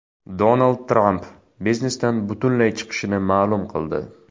Donald Tramp biznesdan butunlay chiqishini ma’lum qildi.